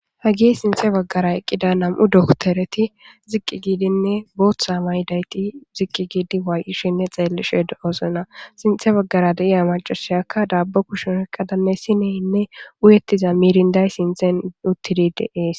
Hagi sinthe baggara eqqida nam'u doktereti ziqqi giidinne booththa maydayti ziqqi giidi waay'ishinne xeellishe do oosena sinthe baggara deiya macasiyakka daabbo kushen ekkadanne sineynne uyettiza miirinday sinthen uttidide ees